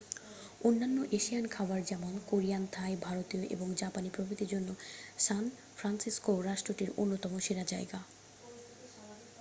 অন্যান্য এশিয়ান খাবার যেমন কোরিয়ান থাই ভারতীয় এবং জাপানি প্রভৃতির জন্য সান ফ্রান্সিসকোও রাষ্ট্রটির অন্যতম সেরা জায়গা